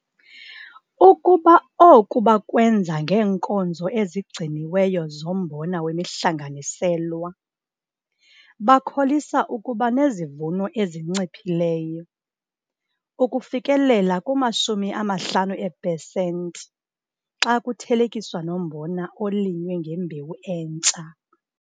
Ukuba oku bakwenza ngeenkozo ezigciniweyo zombona wemihlanganiselwa, bakholisa ukuba nezivuno ezinciphileyo, ukufikelela kuma-50 eepesenti, xa kuthelekiswa nombona olinywe ngembewu entsha.